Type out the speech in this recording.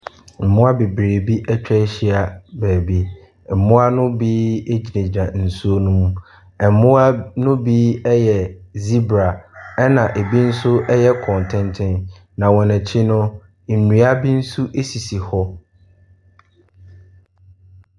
Mmoa bebree atwa ahyia baabi. Mmoa no bi gyinagyina nsuo no mu. Mmoa no bi yɛ zebra, ɛnna ɛbi nso yɛ kɔntenten. Na wɔn akyi ni, nnua bi nso sisi hɔ.